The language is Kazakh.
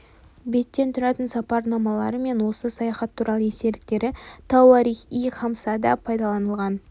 беттен тұратын сапарнамалары мен осы саяхат туралы естеліктері тауарих-и хамсада да пайдаланылған